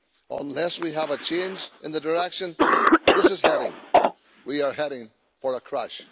Unless we have a change in the direction this is heading, we are heading for a crash.